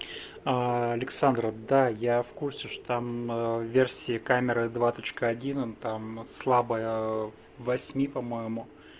александра да я в курсе что там версии камеры два точка он там слабая восьми по моему